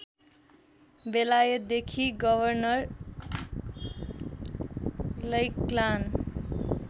बेलायतदेखि governor Lachlan